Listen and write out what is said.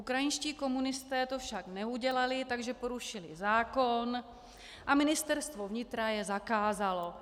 Ukrajinští komunisté to však neudělali, takže porušili zákon a ministerstvo vnitra je zakázalo.